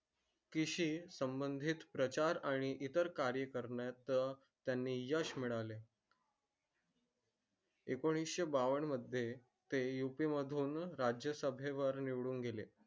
कृषी संबंधित प्रचार आणि इतर कार्य करण्यात त्यांनी यश मिळाले. एकोणीसशे बावन मध्ये ते यूपी मधून राज्यसभे वर निवडून गेले.